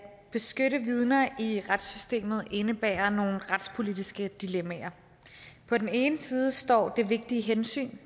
beskytte vidner i retssystemet indebærer nogle retspolitiske dilemmaer på den ene side står det vigtige hensyn